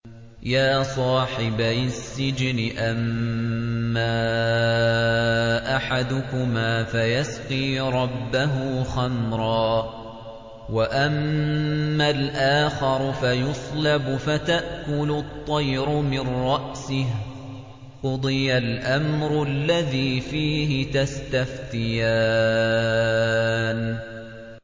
يَا صَاحِبَيِ السِّجْنِ أَمَّا أَحَدُكُمَا فَيَسْقِي رَبَّهُ خَمْرًا ۖ وَأَمَّا الْآخَرُ فَيُصْلَبُ فَتَأْكُلُ الطَّيْرُ مِن رَّأْسِهِ ۚ قُضِيَ الْأَمْرُ الَّذِي فِيهِ تَسْتَفْتِيَانِ